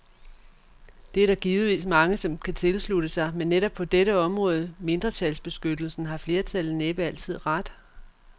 Det er der givetvis mange, der kan tilslutte sig, men netop på dette område, mindretalsbeskyttelsen, har flertallet næppe altid ret.